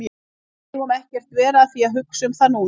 Við megum ekkert vera að því að hugsa um það núna.